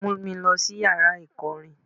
Mú mi lọ sí yàrá ìkọrin.